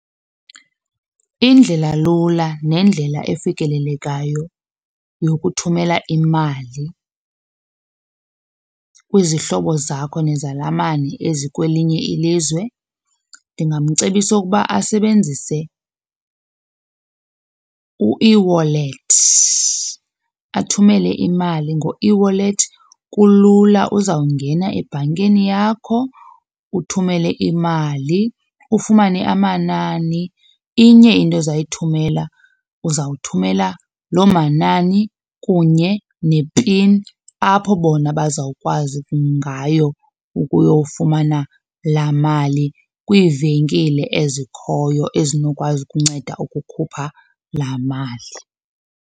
Indlela lula nendlela efikelelekayo yokuthumela imali kwizihlobo zakho nezalamane ezi kwelinye ilizwe ndingamcebisa ukuba asebenzise u-eWallet. Athumele imali ngo-eWallet kulula uzawungena ebhankini yakho uthumele imali, ufumane amanani. Inye into ozayithumela uzawuthumela lo manani kunye nepini apho bona bazawukwazi ngayo ukuyofumana laa mali kwivenkile ezikhoyo ezinokwazi ukunceda ukukhupha laa mali.